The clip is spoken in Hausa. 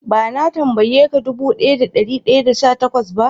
Ba na tambaye ka dubu daya da dari daya da sha takwas ba?